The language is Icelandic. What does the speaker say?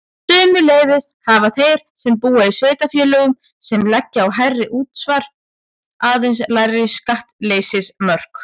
Sömuleiðis hafa þeir sem búa í sveitarfélögum sem leggja á hærra útsvar aðeins lægri skattleysismörk.